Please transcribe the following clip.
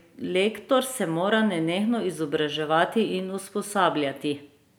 Lektor se mora nenehno izobraževati in usposabljati.